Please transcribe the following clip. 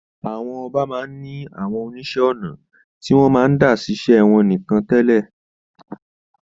Àwọn ọba máa ń ní àwọn oníṣẹ́ ọnà tí wọ́n máa ń dá ṣiṣẹ́ wọn nìkan tẹ́lẹ̀.